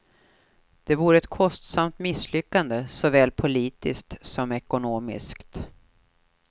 Det vore ett kostsamt misslyckande, såväl politiskt som ekonomiskt.